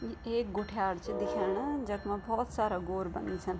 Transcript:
यि एक गुठ्यार छ दिख्यणा जखमा भोत सारा गोर बाँधी छन।